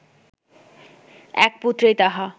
এক পুত্রেই তাহা